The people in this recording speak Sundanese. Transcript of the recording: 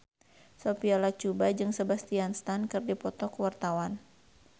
Sophia Latjuba jeung Sebastian Stan keur dipoto ku wartawan